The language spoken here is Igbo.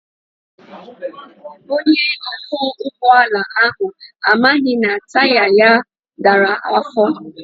Onye ọkwọ ụgbọala ahụ amaghị na taya ya dara afọ.